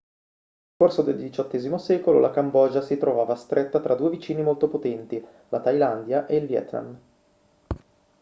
nel corso del xviii secolo la cambogia si trovava stretta tra due vicini molto potenti la thailandia e il vietnam